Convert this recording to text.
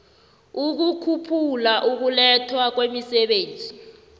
ukukhuphula ukulethwa kwemisebenzi